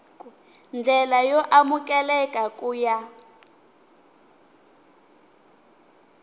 ndlela yo amukeleka ku ya